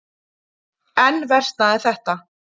Enn versnaði þetta.